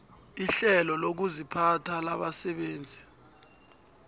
irhelo lokuziphatha labasebenzi